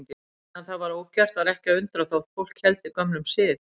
Meðan það var ógert var ekki að undra þótt fólk héldi gömlum sið.